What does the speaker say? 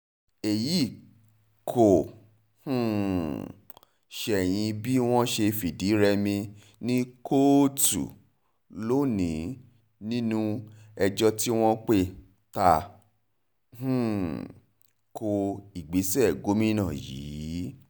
èyí kò um ṣẹ̀yìn bí wọ́n ṣe fìdí-rẹmi ní kóòtù lónìí nínú ẹjọ́ tí wọ́n pè ta um ko ìgbésẹ̀ gómìnà yìí